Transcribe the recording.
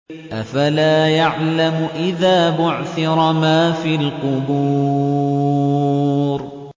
۞ أَفَلَا يَعْلَمُ إِذَا بُعْثِرَ مَا فِي الْقُبُورِ